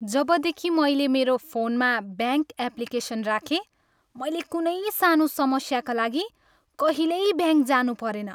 जबदेखि मैले मेरो फोनमा ब्याङ्क एप्लिकेसन राखेँ, मैले कुनै सानो समस्याका लागि कहिल्यै ब्याङ्क जानु परेन।